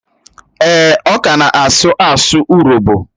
Èè, ọ ka na-asụ asụ urobo